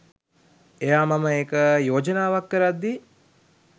එයා මම එක යෝජනාවක් කරද්දි